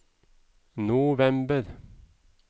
november